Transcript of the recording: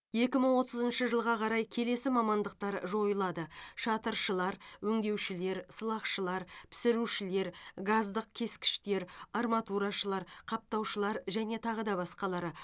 екі мың отызыншы жылға қарай келесі мамандықтар жойылады шатыршылар өңдеушілер сылақшылар пісірушілер газдық кескіштер арматурашылар қаптаушылар және тағы да басқалары